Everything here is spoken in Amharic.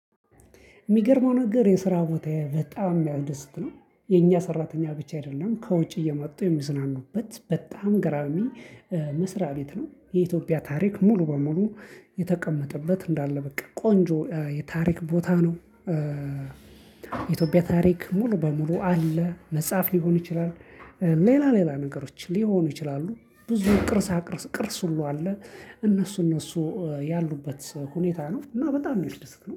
የሚገርመው ነገር የስራ ቦታዬ በጣም የሚያደስት ነው። የኛ ሰራተኛ ብቻ አይደለም ከውጭ እየመጡ የሚዝናኑበት በጣም ገራሚ መስሪያ ቤት ነው። የኢትዮጵያ ታሪክ ሙሉ በሙሉ የተቀመጠበት እንዳለ በቃ ቆንጆ የታሪክ ቦታ ነው። የኢትዮጵያ ታሪክ ሙሉ በሙሉ አለ መጽሐፍ ሊሆን ይችላል። ሌላ ሌላ ነገሮች ሊሆኑ ይችላሉ። ብዙ ቅርሳቅርስ ቅርስ ሁሉ አለ። እነሱ እነሱ ያሉበት ሁኔታ ነው እና በጣም የሚያስደስት ነው